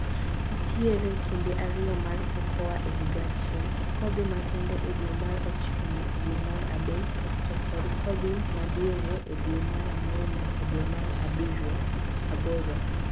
ntiere kinde ariyo mar cocoa e higa achiel. Kodhi makende e dwe mar ochiko nyaka dwe mar adek to kod kodhi madiere e dwee mar angwen nyaka dwe mar aboro.